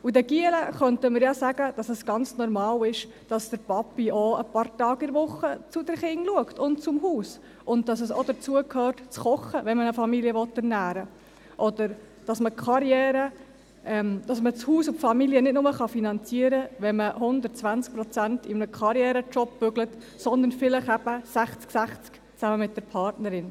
Den Buben könnten wir sagen, dass es ganz normal ist, dass der Papa auch ein paar Tage pro Woche zu den Kindern und zum Haus schaut, und dass das Kochen auch dazugehört, wenn man eine Familie ernähren will, oder dass man das Haus und die Familie nicht nur finanzieren kann, wenn man zu 120 Prozent in einem Karriere-Job arbeitet, sondern vielleicht eben 60-60 zusammen mit der Partnerin.